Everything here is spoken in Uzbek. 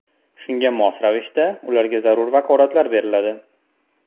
Shunga mos ravishda ularga zarur vakolatlar beriladi.